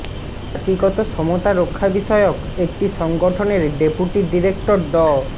জাতিগত সমতা রক্ষা বিষয়ক একটি সংগঠনের ডেপুটি ডিরেক্টর ড